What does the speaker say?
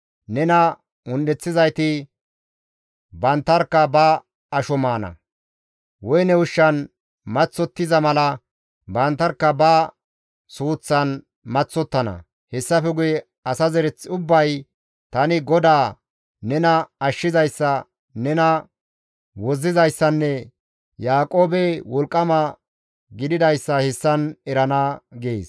Nena un7eththizayti banttarkka ba asho maana; woyne ushshan maththottiza mala banttarkka ba suuththan maththottana; hessafe guye asa zereth ubbay, tani GODAA, nena Ashshizayssa, nena wozzizayssanne Yaaqoobe Wolqqama gididayssa hessan erana» gees.